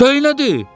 Day nədir?